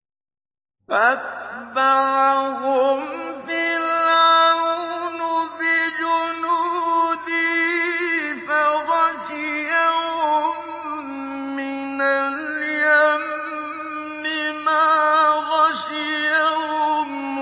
فَأَتْبَعَهُمْ فِرْعَوْنُ بِجُنُودِهِ فَغَشِيَهُم مِّنَ الْيَمِّ مَا غَشِيَهُمْ